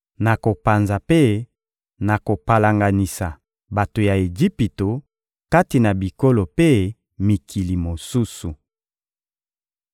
Nakopanza mpe nakopalanganisa bato ya Ejipito kati na bikolo mpe mikili mosusu.